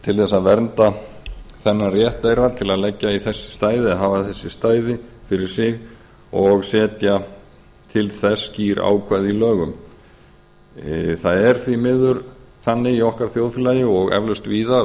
til að vernda þennan rétt þeirra til að hafa þessi stæði fyrir sig og setja til þess skýr ákvæði í lögum það er því miður þannig í okkar þjóðfélagi og eflaust